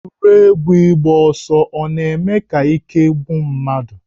Egwuregwu ịgba ọsọ ọ na-eme ka ike gwụ mmadụ?